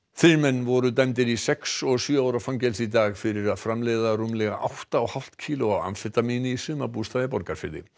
þrír menn voru dæmdir í sex og sjö ára fangelsi í dag fyrir að framleiða rúmlega átta og hálft kíló af amfetamíni í sumarbústað í Borgarfirði